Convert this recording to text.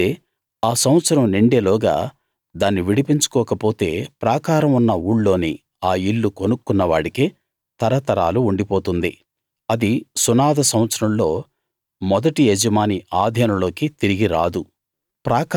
అయితే ఆ సంవత్సరం నిండే లోగా దాన్ని విడిపించుకోకపోతే ప్రాకారం ఉన్న ఊళ్ళోని ఆ ఇల్లు కొనుక్కున్న వాడికే తరతరాలకు ఉండిపోతుంది అది సునాద సంవత్సరంలో మొదటి యజమాని ఆధీనంలోకి తిరిగి రాదు